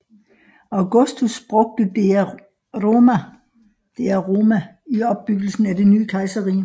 Augustus brugte Dea Roma i opbyggelsen af det nye kejserrige